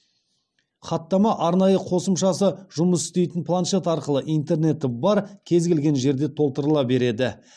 хаттама арнайы қосымшасы жұмыс істейтін планшет арқылы интернеті бар кез келген жерде толтырыла береді